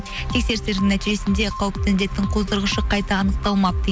тексерістердің нәтижесінде қауіпті індеттің қоздырғышы қайта анықталмапты